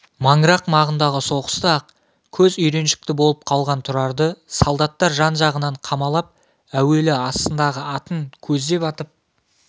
маңырақ маңындағы соғыста-ақ көз үйреншікті болып қалған тұрарды солдаттар жан-жағынан қамалап әуелі астындағы атын көздеп атып